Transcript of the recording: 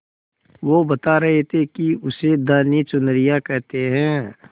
वो बता रहे थे कि उसे धानी चुनरिया कहते हैं